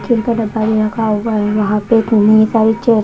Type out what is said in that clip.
chill का डब्बा भी रखा हुआ वहां पे इतनी सारी चेयर् --